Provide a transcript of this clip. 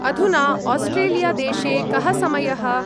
अधुना आस्ट्रेलिया-देशे कः समयः?